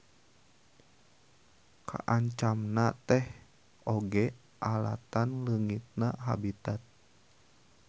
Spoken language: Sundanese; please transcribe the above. Kaancamna teh oge alatan leungitna habitat.